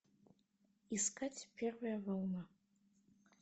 искать первая волна